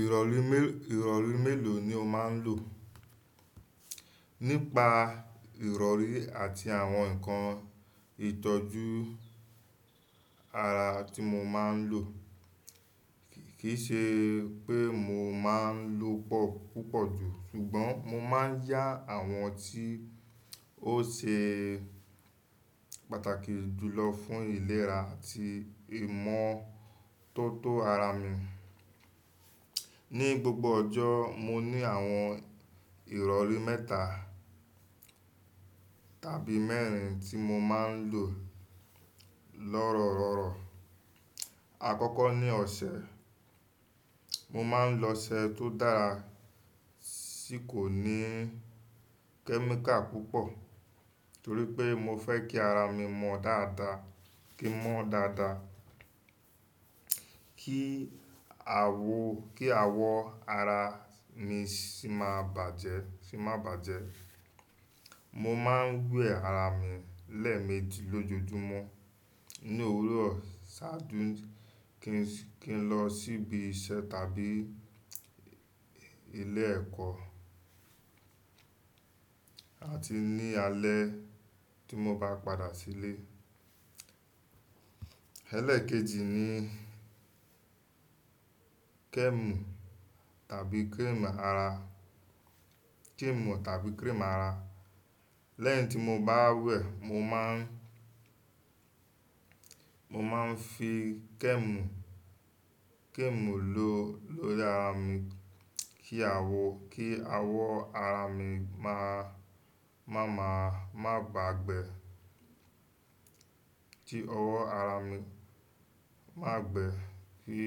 Ìrọ̀rí mé, ìrọ̀rí mélòó ni o máa ń lò? Nípa ìrọ̀rí àti àwọn ǹkan ìtọ́jú ara tí mo máa ń lò, kìí ṣe pé mo máa ń lò pọ̀ púpọ̀ jù, ṣùgbọ́n mo máa ń yá àwọn tí ó ṣe pàtàkì jù lọ fún ìlera àti ìmọ̀tótó ara mi. Ní gbogbo ọjọ́, mo ní àwọn ìrọ̀rí mẹ́ta tàbí mẹ́rin tí mo máa ń lò, lorororo. Akọ́kọ́ ni ọṣẹ. Mo máa ń lo ọṣẹ tó dára tí kò ní kẹ́míkà púpọ̀ torí pé mo fẹ́ kí ara mi mọ́ dáadáa, kí n mọ́ dáadáa, kí àwọ̀, kí àwọ̀ ara mi sì má bàjẹ́, sì má bàjẹ́. Mo máa ń wẹ ara mi lẹ́ẹ̀meji lójoojúmọ́ ní òwúrọ̀ ṣáájú kí n lọ síbi iṣẹ́ tàbí ilé ẹ̀kọ́ àti ní alẹ́ tí mo bá padà sílé. Elẹ́ẹ̀kejì ni kẹ́ẹ̀mù tàbí kírímù ara, kẹ́ẹ̀mù tàbí kírímù ara. Lẹ́yìn tí mo bá wẹ̀, mo máa ń, mo máa ń fi kẹ́ẹ̀mù, kẹ́ẹ̀mù lò lórí ara mi kí àwọ̀, kí àwọ̀ ara mi má, má má, má bá gbẹ, tí ọwọ́ ara mi máa gbẹ ki,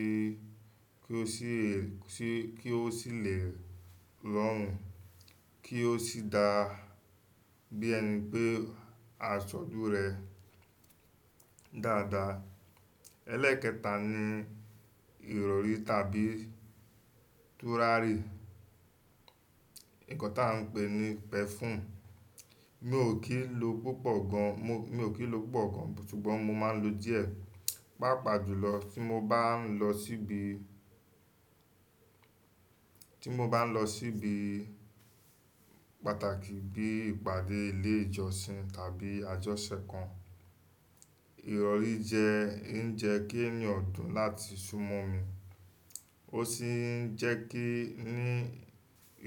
kí ó sì lè, kí ó sì lè rọrùn kí ó sì dá bí ẹni pé a ṣọjú rẹ̀ dáadáa. Elẹ́ẹ̀kẹta ni ìrọ̀rí tàbí turárì. Ǹkan ta ń pè ní perfume. Mi ò kí ń lo púpọ̀ gan, mi ò kí ń lo púpọ̀ gan ṣùgbọ́n mo máa ń lo díẹ̀, pàápàá jùlọ tí mo bá ń lọ síbi, tí mo bá n lo síbi pàtàkì bí ìpàdé ilé ìjọsìn tàbí àjọṣẹ kan ìrọ̀rí jẹ́ ń jẹ́ kí eeyan dùn láti súnmọ́ mi. Ó sì ń jẹ́ kí n ní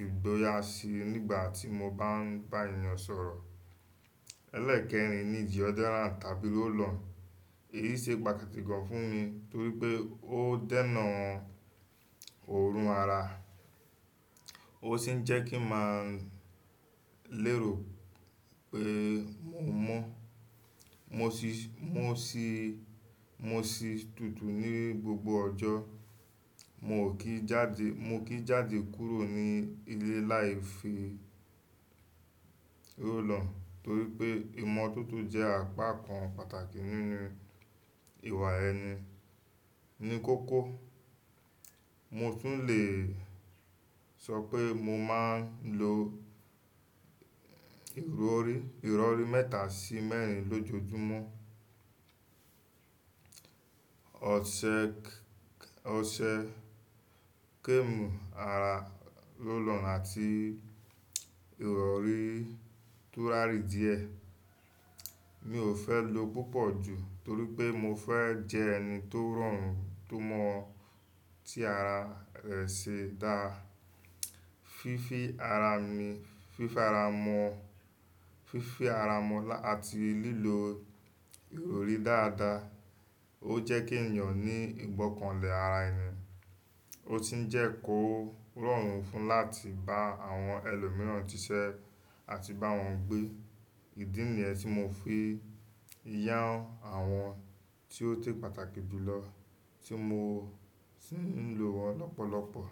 ìgboyà síi nígbà tí mo bá ń bá èeyàn sọ̀rọ̀. Elẹ́ẹ̀kẹrin ni deodorant tàbí roll-on. Èyí ṣe pàtàkì gan fún mi torí pé ó dènà òórùn ara. Ó sì ń jẹ́ kí n màa lérò pé mò mọ́. Mo sì, mo sì, mo sì tutù ní gbogbo ọjọ́. Mio kíi jáde, mio kií jáde kúrò ní ilé láì fi roll on torí pé ìmọ̀toto jẹ́ àpá kan pàtàkì nínú ìwà ẹni. Ní kókó, mo tún le sọ pé mo máa ń lo ìrọ̀rí, ìrọ̀rí mẹ́ta sí mẹ́rin lójoojúmọ́. Ọṣẹ, ọṣẹ, kẹ́ẹ̀mù ara, roll on àti ìrọ̀rí turárì díẹ̀. Mi ò fẹ́ lo púpọ̀ jù torí pé mo fẹ́ jẹ ẹni tó rọrùn tó mọ́ tí ara rẹ̀ ṣe dá. Fífí ara mi, fífara mọ́, fífí ara mọ́ àti lílo ìrọ̀rí dáadáa. Ó jẹ́ kí ènìyàn ní ìgbọ́kànlé ara ẹni. Ó sì ń jẹ́ kó rọrùn fún láti bá àwọn ẹlòmíràn ṣiṣẹ́ àti bá wọn gbé. Ìdí nìyẹn tí mo fi yán àwọn tí ó ṣé pàtàkì jù lọ tí mo sì ń lò wọ́n lọ́pọ̀lọpọ̀.